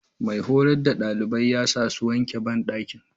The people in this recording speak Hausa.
Mai horas da ɗalibai yasafmmmń